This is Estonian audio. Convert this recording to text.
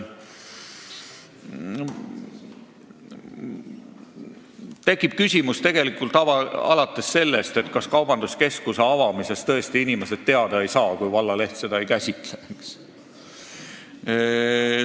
Tekib kõiksugu küsimusi, alates sellest, kas tõesti inimesed kaubanduskeskuse avamisest teada ei saa, kui vallaleht seda ei käsitle.